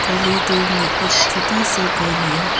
में एक छोटा सा घर है।